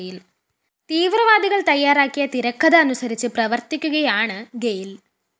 തീവ്രവാദികള്‍ തയ്യാറാക്കിയ തിരക്കഥ അനുസരിച്ച്‌ പ്രവര്‍ത്തിക്കുകയാണ്‌ ഗെയില്‍